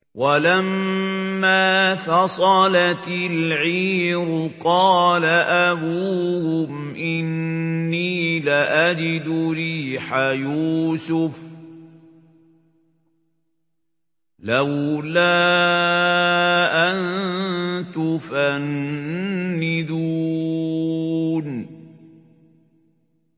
وَلَمَّا فَصَلَتِ الْعِيرُ قَالَ أَبُوهُمْ إِنِّي لَأَجِدُ رِيحَ يُوسُفَ ۖ لَوْلَا أَن تُفَنِّدُونِ